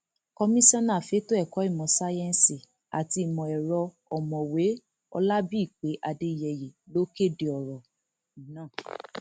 komisanna fẹtọ ẹkọ ìmọ sáyẹǹsì àti ìmọ ẹrọ ọmọwé olábìpé adéyeyé ló kéde ọrọ náà